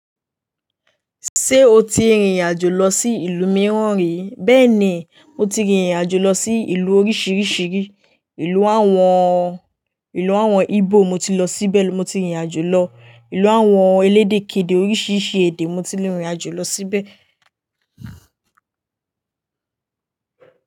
Ṣé o ti rìnrìn àjò lọ sí ìlú mìíràn rí? Bẹ́ẹ̀ni, mo ti rìnrìn àjò lọ sí ìlú oríṣìíríṣìí. Ìlú àwọn, ìlú àwọn Igbo mo ti lọ síbẹ̀. Mo ti rìnrìn àjò lọ. Ìlú àwọn elédè kedè oríṣìíríṣìí èdè mo ti rìnrìn àjò lọ síbẹ̀.